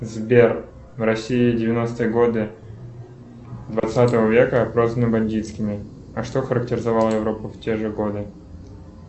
сбер в россии девяностые годы двадцатого века прозваны бандитскими а что характеризовало европу в те же годы